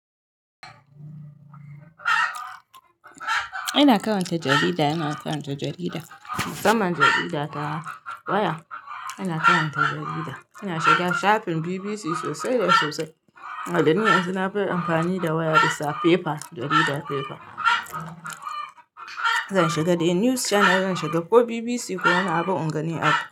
Ina karanta jarida, ina karanta jarida. Musamman jarida ta waya ina karanta jarida. Ina shiga shafin BBC sosai da sosai. A dan yanzu na fi amfani da waya bisa paper, jaridar paper. Zan shiga Daily News Channel, zan shiga ko BBC ko naba in gani abu.